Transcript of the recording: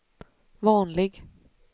vanlig